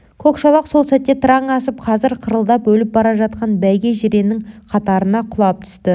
көк шолақ сол сәтте тыраң асып қазір қырылдап өліп бара жатқан бәйге жиреннің қатарына құлап түсті